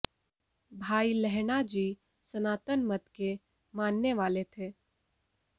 भाई लहणा जी सनातन मत के मानने वाले थे